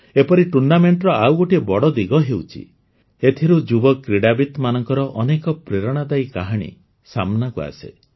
ଏପରି ଟୁର୍ଣ୍ଣାମେଣ୍ଟର ଆଉ ଗୋଟିଏ ବଡ଼ ଦିଗ ହେଉଛି ଏଥିରୁ ଯୁବ କ୍ରୀଡ଼ାବିତ୍ମାନଙ୍କର ଅନେକ ପ୍ରେରଣାଦାୟୀ କାହାଣୀ ସାମ୍ନାକୁ ଆସେ